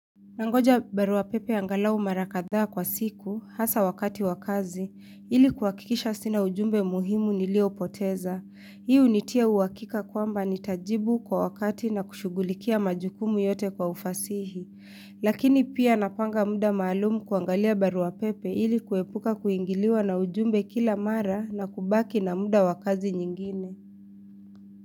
Nangoja barua pepe angalau mara kadhaa kwa siku, hasa wakati wakazi, ilikuwakikisha sina ujumbe muhimu niliopoteza. Hii unitia uhakika kwamba nitajibu kwa wakati na kushughulikia majukumu yote kwa ufasihi. Lakini pia napanga muda maalumu kuangalia barua pepe ilikuwepuka kuingiliwa na ujumbe kila mara na kubaki na muda wakazi nyingine.